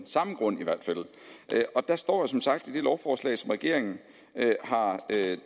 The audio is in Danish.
samme grund og der står jo som sagt i det lovforslag som regeringen har